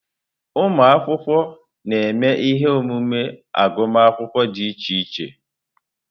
Ụmụ akwụkwọ na-eme ihe omume agụmakwụkwọ dị iche iche.